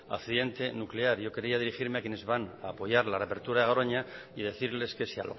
accidente nuclear yo quería dirigirme a quienes van a apoyar la reapertura de garona y decirles que si